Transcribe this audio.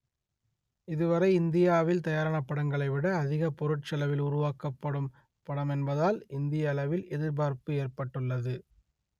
இதுவரை இந்தியாவில் தயாரான படங்களைவிட அதிக பொருட்செலவில் உருவாக்கப்படும் படம் என்பதால் இந்திய அளவில் எதிர்பார்ப்பு ஏற்பட்டுள்ளது